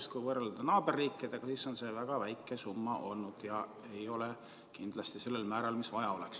Sest kui võrrelda naaberriikidega, siis on see väga väike summa olnud ja seda ei ole kindlasti sellel määral, nagu vaja oleks.